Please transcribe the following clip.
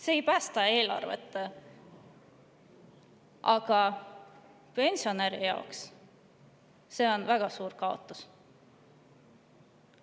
See ei päästa eelarvet, aga pensionäri jaoks on see väga suur kaotus.